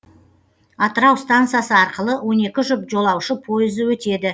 атырау стансасы арқылы он екі жұп жолаушы пойызы өтеді